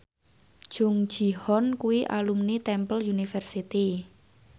Jung Ji Hoon kuwi alumni Temple University